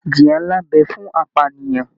Ìjìyà nlá n bẹ fún apànìyàn.